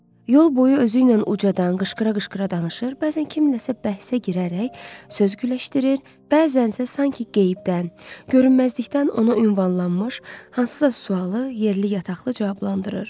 Yol boyu özüylə ucadan qışqıra-qışqıra danışır, bəzən kiminləsə bəhsə girərək söz güləşdirir, bəzənsə sanki qeybdən, görünməzlikdən ona ünvanlanmış hansısa sualı yerli yataqlı cavablandırırdı.